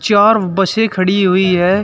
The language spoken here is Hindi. चार बसें खड़ी हुई हैं।